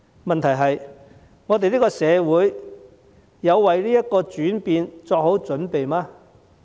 問題是：我們的社會有為這個轉變作好準備嗎？